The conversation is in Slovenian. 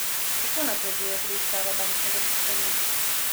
Kako napreduje preiskava bančnega sistema?